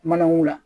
Manamugu la